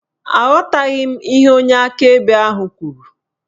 Aghọtaghị m ihe onye akaebe ahụ kwuru